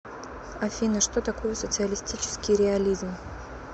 афина что такое социалистический реализм